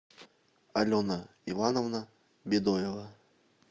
алена ивановна бедоева